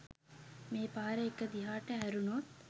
මේ පාර එක දිහාට හැරුණොත්